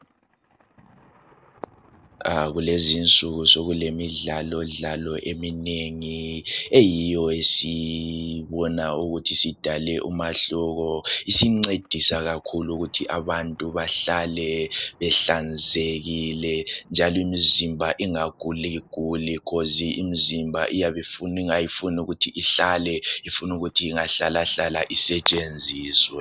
Kulezinsuku sokulemidlalodlalo eminengi eyiyo esiyibona ukuthi sidale umahluko isincedisa kakhulu ukuthi abantu bahlale behlanzekile njalo imizimba ingaguliguli khozi imizimba iyabe ifuna nga ifunukuthi nga ihlale ifunukuthi ingahlahlala isetshenziswe.